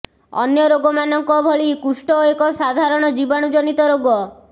ଅନ୍ୟ ରୋଗ ମାନଙ୍କ ଭଳି କୁଷ୍ଟ ଏକ ସାଧାରଣ ଜୀବାଣୁ ଜନିତ ରୋଗ